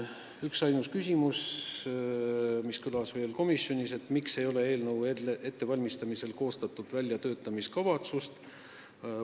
Mainin veel ühtainust küsimust, mis komisjonis kõlas: miks ei koostatud eelnõu ettevalmistamisel väljatöötamiskavatsust?